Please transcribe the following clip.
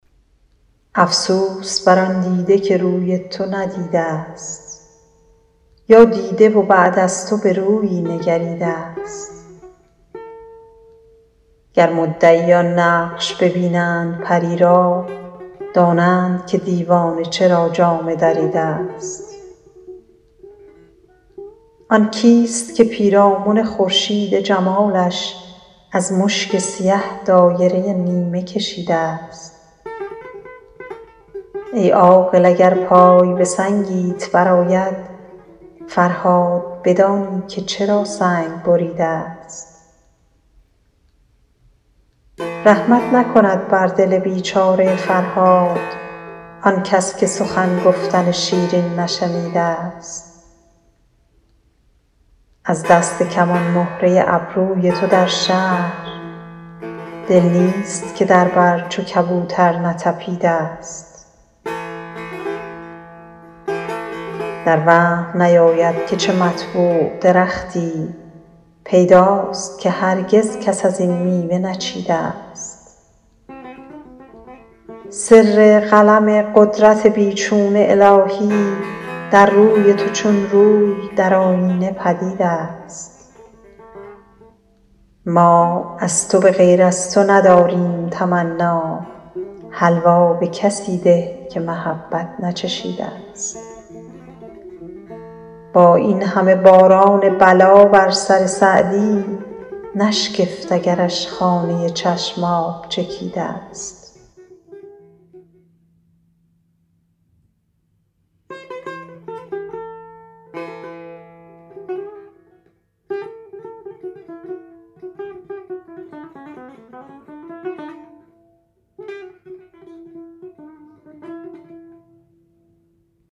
افسوس بر آن دیده که روی تو ندیده ست یا دیده و بعد از تو به رویی نگریده ست گر مدعیان نقش ببینند پری را دانند که دیوانه چرا جامه دریده ست آن کیست که پیرامن خورشید جمالش از مشک سیه دایره نیمه کشیده ست ای عاقل اگر پای به سنگیت برآید فرهاد بدانی که چرا سنگ بریده ست رحمت نکند بر دل بیچاره فرهاد آنکس که سخن گفتن شیرین نشنیده ست از دست کمان مهره ابروی تو در شهر دل نیست که در بر چو کبوتر نتپیده ست در وهم نیاید که چه مطبوع درختی پیداست که هرگز کس از این میوه نچیده ست سر قلم قدرت بی چون الهی در روی تو چون روی در آیینه پدید است ما از تو به غیر از تو نداریم تمنا حلوا به کسی ده که محبت نچشیده ست با این همه باران بلا بر سر سعدی نشگفت اگرش خانه چشم آب چکیده ست